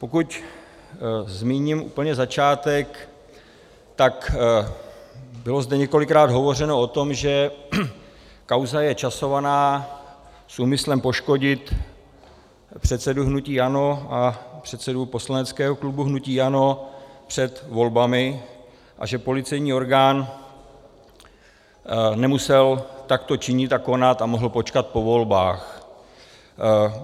Pokud zmíním úplně začátek, tak bylo zde několikrát hovořeno o tom, že kauza je časovaná s úmyslem poškodit předsedu hnutí ANO a předsedu poslaneckého klubu hnutí ANO před volbami a že policejní orgán nemusel takto činit a konat a mohl počkat po volbách.